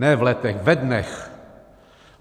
Ne v letech, ve dnech.